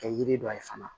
Kɛ yiri dɔ ye fana